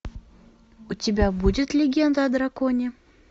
у тебя будет легенда о драконе